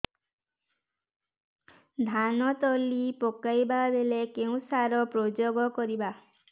ଧାନ ତଳି ପକାଇବା ବେଳେ କେଉଁ ସାର ପ୍ରୟୋଗ କରିବା